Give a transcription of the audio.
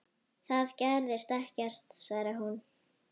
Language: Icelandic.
Það gerðist ekkert, svaraði hún.